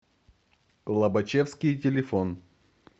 лобачевский телефон